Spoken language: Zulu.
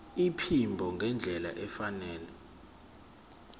iphimbo ngendlela efanele